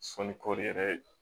Sɔnni kɔri yɛrɛ